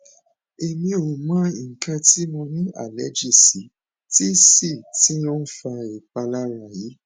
emi o mo ikan ti mo ni allergy si ti si ti o n fa ipalara yi